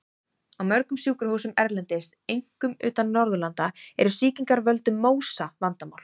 Á mörgum sjúkrahúsum erlendis, einkum utan Norðurlanda, eru sýkingar af völdum MÓSA vandamál.